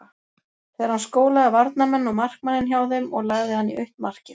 Þegar hann skólaði varnarmenn og markmanninn hjá þeim og lagði hann í autt markið.